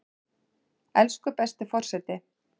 Elsku besti forseti!